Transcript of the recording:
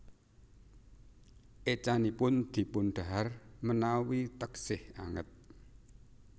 Écanipun dipun dahar menawi teksih anget